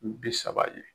Bi saba ye